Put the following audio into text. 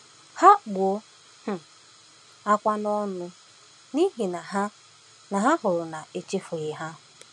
Ha kpuo um ákwá n’ọṅụ, n’ihi na ha na ha hụrụ na a chefughị ha!